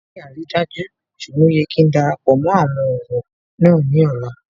Mi ò ní àrídájú ṣùgbọ́n ó yẹ kí darapọ̀ mó àwọn ọ̀wọ́ náà ní ọ̀la